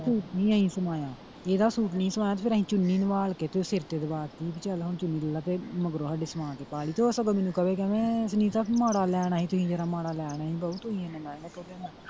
Suit ਨਹੀਂ ਅਸੀਂ ਸਵਾਇਆ ਇਹਦਾ ਸੂਟ ਨਹੀਂ ਸੀ ਸਵਾਇਆ ਫਿਰ ਅਸੀਂ ਚੁੰਨੀ ਨਵਾਲ ਕੇ ਤੇ ਉਹ ਸਿਰ ਤੇ ਦਵਾਤੀ ਸੀ ਕਿ ਚਲ ਹੁਣ ਚੁੰਨੀ ਲੈਲਾ ਤੇ ਮਗਰੋਂ ਸਾਡੇ ਸਵਾ ਕੇ ਪਾਲੀ ਤੇ ਉਹ ਸਗੋਂ ਮੈਨੂੰ ਕਵੇ ਕਹਿੰਦਾ ਸੁਨੀਤਾ ਤੂੰ ਮਾੜਾ ਲੈ ਆਉਣਾ ਸੀ ਤੁਸੀਂ ਜਰਾ ਮਾੜਾ ਲੈ ਆਉਣਾ ਸੀ ਬਾਊ ਤੁਸੀਂ ਏਨਾ ਮਹਿੰਗਾ ਕਿਉਂ ਲਿਆ।